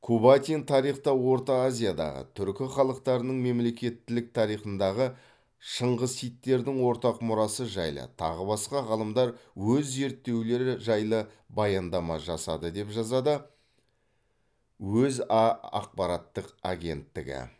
кубатин тарихта орта азиядағы түркі халықтарының мемлекеттілік тарихындағы шыңғысидтердің ортақ мұрасы жайлы тағы басқа ғалымдар өз зерттеулері жайлы баяндама жасады деп жазады өза ақпараттық агенттігі